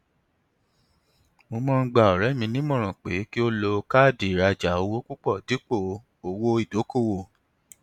mo máa ń gba ọrẹ mi nímọràn pé kí ó lo káàdì ìrajà owó púpọ dípò owó ìdókòwò